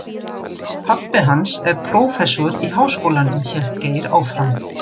Pabbi hans er prófessor í Háskólanum hélt Geir áfram.